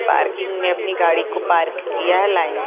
parking में अपनी गाड़ी को पार्क किया है लाइन --